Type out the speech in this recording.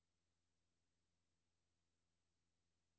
Denne model er ikke hensigtsmæssig.